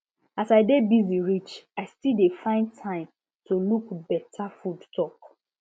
as i dey busy reach i still dey find time to look better food talk